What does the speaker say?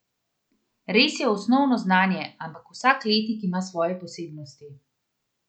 Res je osnovno znanje, ampak vsak letnik ima svoje posebnosti.